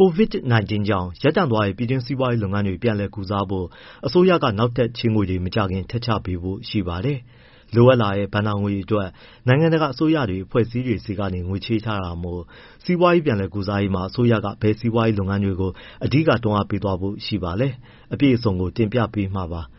COVID-19 ကြောင့်ရပ်တန့်သွားတဲ့ ပြည်တွင်းစီးပွားရေးလုပ်ငန်းတွေ ပြန်လည်ကုစားဖို့ အစိုးရက နောက်ထပ်ချေးငွေတွေ မကြာခင် ထပ်ချပေးဖို့ရှိပါတယ်။ လိုအပ်လာတဲ့ ဘဏ္ဍာငွေအတွက် နိုင်ငံတကာ အစိုးရတွေအဖွဲ့အစည်းတွေဆီကနေငွေချေးထားတာမို့၊စီးပွားရေး ပြန်လည်ကုစားရေးမှာ အစိုးရက ဘယ်စီးပွားရေး လုပ်ငန်းတွေကို အဓိက တွန်းအားပေးသွားဖို့ ရှိပါလဲ။ အပြည့်အစုံကို ကိုဇော်ထက် တင်ပြပေးမှာပါ။